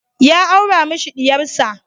Ya aura mashi diyar sa.